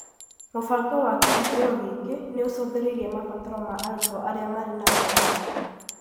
Mũbango wa kĩhũngĩro gĩkĩ nĩ ũcũthĩrĩirie mabataro ma arutwo arĩa marĩ na mawathe